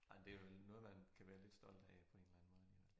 Ej men det vel noget man kan være lidt stolt af på en eller anden måde ik